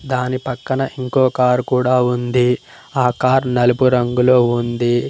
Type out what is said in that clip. దాని పక్కన ఇంకో కార్ కూడా ఉంది ఆ కార్ నలుపు రంగులో ఉంది.